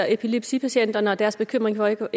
epilepsipatienterne og deres bekymringer